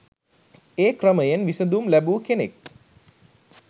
ඒ ක්‍රමයෙන් විසඳුම් ලැබූ කෙනෙක්